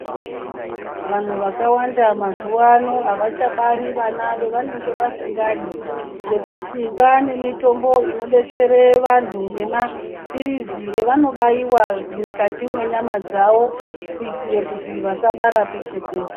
Vanthu vakawanda mazuva ano avachabari ana avanenge vasingadi ngekuti kwane mitombo inodetsera antu, nemapirizi aanobaiwa mukati mwenyama dzawo kuitira kuti asabara peshe-peshe.